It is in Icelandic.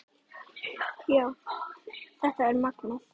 Já, þetta er magnað.